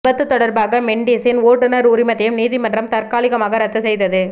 விபத்து தொடர்பாக மெண்டிஸின் ஓட்டுநர் உரிமத்தையும் நீதிமன்றம் தற்காலிகமாக ரத்து செய்தது